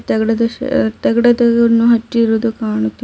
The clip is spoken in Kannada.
ತಗಡ ತಗಡ ಅನ್ನು ಹಚಿರುವುದು ಕಾಣುತಿ --